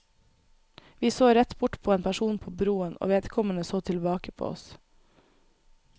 Vi så rett bort på en person på broen, og vedkommende så tilbake på oss.